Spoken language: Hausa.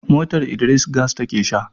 motar Idris gas take Sha